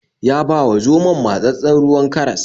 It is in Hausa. Ya ba wa zomon matsatssen ruwan karas.